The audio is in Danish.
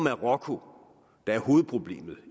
er marokko der er hovedproblemet